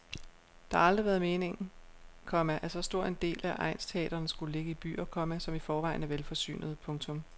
Det har aldrig været meningen, komma at så stor en del af egnsteatrene skulle ligge i byer, komma som i forvejen er velforsynede. punktum